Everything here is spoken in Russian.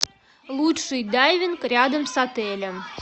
лучший дайвинг рядом с отелем